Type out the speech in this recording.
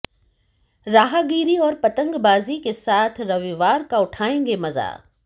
राहगीरी और पतंगबाजी के साथ रविवार का उठाएंगे मजा